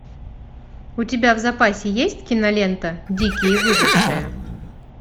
у тебя в запасе есть кинолента дикие выжившие